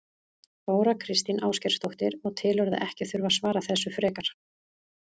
Þóra Kristín Ásgeirsdóttir: Og telurðu að ekki þurfi að svara þessu frekar?